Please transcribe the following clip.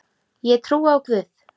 Ég trúi á Guð!